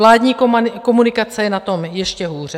Vládní komunikace je na tom ještě hůře.